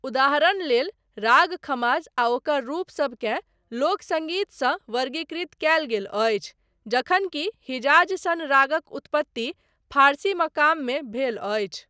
उदहारणलेल, राग खमाज आ ओकर रूपसबकेँ लोक सङ्गीतसँ वर्गीकृत कयल गेल अछि, जखन कि हिजाज़ सन रागक उत्पत्ति फारसी मकाममे भेल अछि।